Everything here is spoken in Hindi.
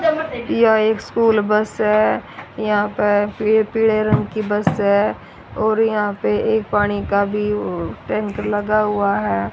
यह एक स्कूल बस है यहां पर पीले रंग की बस है और यहां पे एक पानी का भी टैंकर लगा हुआ है।